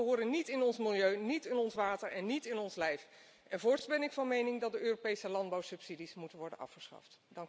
Deze stoffen horen niet in ons milieu, niet in ons water en niet in ons lijf! Voorts ben ik van mening dat de Europese landbouwsubsidies moeten worden afgeschaft!